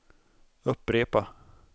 upprepa